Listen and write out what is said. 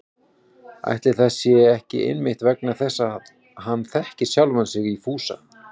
Ætli það sé ekki einmitt vegna þess að hann þekkir sjálfan sig í Fúsa